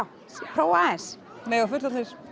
prófa aðeins mega fullorðnir